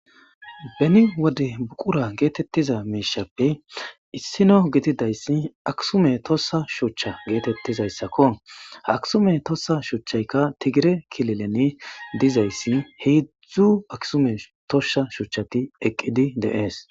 Beni wode buqura geetettiza meeshappe issino gididayssi aksume tossa shucha geetettizayssakko haksume tossa shuchchaykka tigire kilelene dizayssi heedzzdzu aksume tosha shuchchati eqqidi deees.